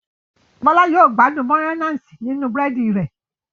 Bola yíò gbádùn Mayonnaise ninu búrẹ́dì rẹ̀.